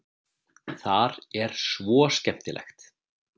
Þar er svo skemmtilegt.